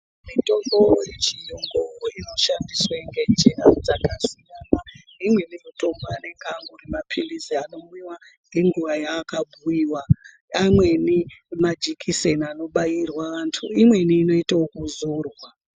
Mitombo ye chiyungu ino shandiswe nge njira dzakasiya imweni mitombo anenge angori mapirisi anomwiwa nge nguva ya aka bhuyiwa amweni majekiseni ano bairwa antu imweni inoita yeku zorwa.